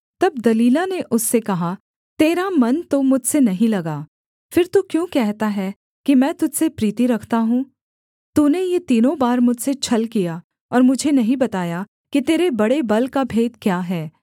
तब दलीला ने उससे कहा तेरा मन तो मुझसे नहीं लगा फिर तू क्यों कहता है कि मैं तुझ से प्रीति रखता हूँ तूने ये तीनों बार मुझसे छल किया और मुझे नहीं बताया कि तेरे बड़े बल का भेद क्या है